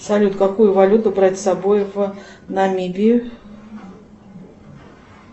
салют какую валюту брать с собой в намибию